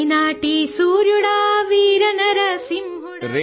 Telugu sound clip 27 seconds Hindi translation